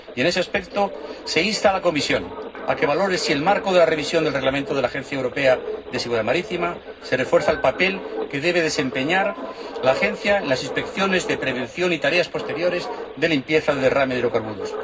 Y, en ese aspecto, se insta a la Comisión a que valore si, en el marco de la revisión del Reglamento de la Agencia Europea de Seguridad Marítima, se refuerza el papel que debe desempeñar la Agencia en las inspecciones de prevención y tareas posteriores de limpieza de derrame de hidrocarburos.